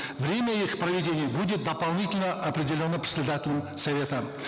время их проведения будет дополнительно определено председателем совета